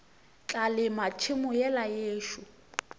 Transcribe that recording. tla lema tšhemo yela yešo